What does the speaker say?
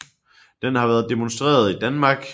Den har været demonstreret i Danmark